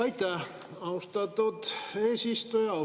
Aitäh, austatud eesistuja!